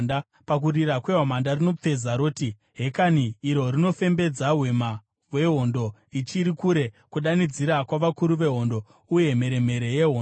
Pakurira kwehwamanda rinopfeza, roti, ‘Hekani!’ Rinofembedza hwema hwehondo ichiri kure, kudanidzira kwavakuru vehondo nemheremhere yehondo.